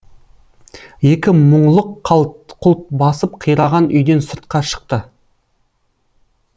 екі мұңлық қалт құлт басып қираған үйден сыртқа шықты